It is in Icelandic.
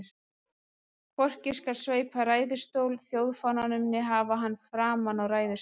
Hvorki skal sveipa ræðustól þjóðfánanum né hafa hann framan á ræðustól.